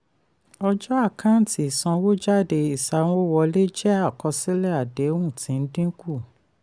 ọjọ́ àkántì ìsanwójáde ìsawọ́wọlé jẹ́ àkọsílẹ̀ àdéhùn tí ń dín kù.